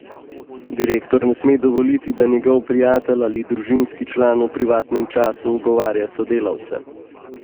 Direktor ne sme dovoliti, da njegov prijatelj ali družinski član v privatnem času ogovarja sodelavce.